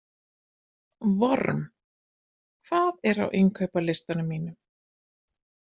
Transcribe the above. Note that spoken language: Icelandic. Vorm, hvað er á innkaupalistanum mínum?